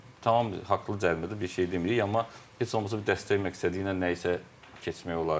Tamam haqlı cərimədir, bir şey demirik, amma heç olmasa bir dəstək məqsədi ilə nəyisə keçmək olardı da.